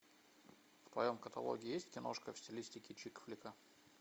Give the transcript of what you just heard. в твоем каталоге есть киношка в стилистике чик флика